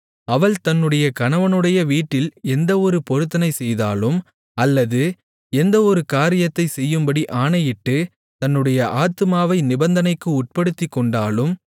அவள் தன்னுடைய கணவனுடைய வீட்டில் எந்த ஒரு பொருத்தனை செய்தாலும் அல்லது எந்த ஒரு காரியத்தைச் செய்யும்படி ஆணையிட்டுத் தன்னுடைய ஆத்துமாவை நிபந்தனைக்கு உட்படுத்திக்கொண்டாலும்